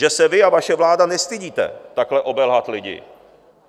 Že se vy a vaše vláda nestydíte takhle obelhat lidi.